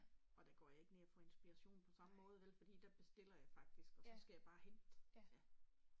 Og der går jeg ikke ved og får inspiration på samme måde vel fordi der bestiller jeg faktisk og så skal jeg bare hente ja